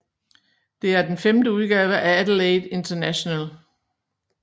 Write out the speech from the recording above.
Det er den femte udgave af Adelaide International